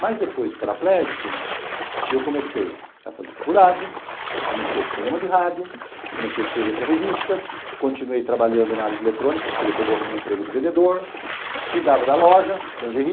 Mas depois de paraplégico, eu comecei a fazer faculdade, comecei o programa de rádio, comecei a escrever para revista, continuei trabalhando na área de eletrônica, porque depois eu arrumei um emprego de vendedor, cuidava da loja, de lingerie